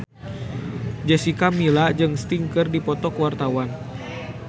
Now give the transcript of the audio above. Jessica Milla jeung Sting keur dipoto ku wartawan